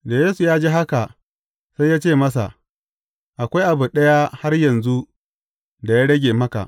Da Yesu ya ji haka, sai ya ce masa, Akwai abu ɗaya har yanzu da ya rage maka.